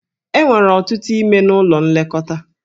E nwere ọtụtụ ime n'ụlọ nlekọta.